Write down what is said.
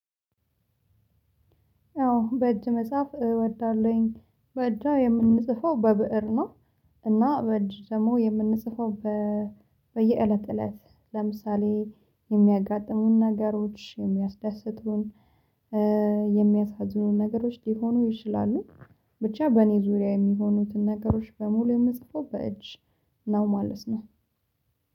አዎ። በእጅ መጽሐፍ እወዳለሁኝ። በእጃ የምንጽፈው በብእር ነው። እና በዕጅ ደግሞ የምንጽፋው፣ በየእለት እለት ለምሳሌ፣ የሚያጋጥሙን ነገሮች፣ የሚያስዳስቱን፣ የሚያሳዝኑን ነገሮች ሊሆኑ ይችላሉ። ብቻ በእኔ ዙሪያ የሚሆኑትን ነገሮች በሙሉ የምጽፈው በእጅ ነው ማለት ነው።